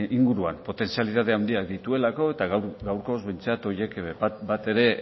inguruan potentzialitate handiak dituelako eta gaurkoz behintzat horiek bat ere